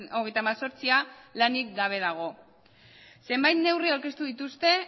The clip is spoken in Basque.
hogeita hemezortzia lanik gabe dago zenbait neurri aurkeztu dituzte